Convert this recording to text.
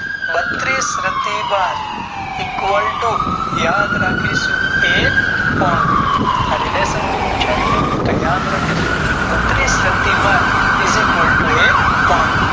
બત્રીસ પ્રતિભા Equal to યાદ રાખીશું એક પણ relation બી પુછાય છે યો યાદ રાખીશું બત્તીસ પ્રતિ ઘાટ Esequal to